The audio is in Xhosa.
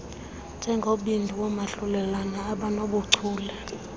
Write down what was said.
njengombindi woomahlulelane abanobuchule